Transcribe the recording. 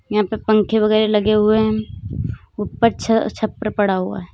यहां पे पंखे वगैरह लगे हुए हैं ऊपर छप्पर पड़ा हुआ है।